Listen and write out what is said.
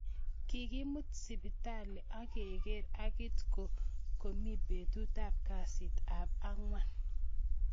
Kikimut siptali ak kekerer angit ko kokimee betut ab kasit ab angwan.